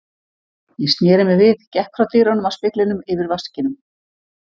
Ég sneri mér við, gekk frá dyrunum að speglinum yfir vaskinum.